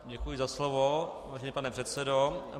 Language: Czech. Děkuji za slovo, vážený pane předsedo.